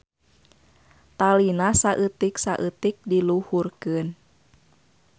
Talina saeutik-saeutik diluhurkeun.